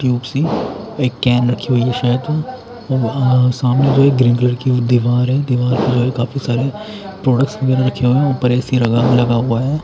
Cube सी एक can रखी हुई हैं शायद अअ सामने जो एक ग्रीन कलर की दीवार हैं दीवार पे जो हैं काफी सारी प्रोडक्स वगैरा रहे हुए हैं उपर ए_सी लगा लगा हुआ हैं।